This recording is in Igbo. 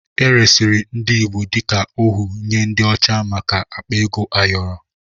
E resịrị ndị Igbo dịka ohu nye ndị ọcha maka akpa ego ayọrọ.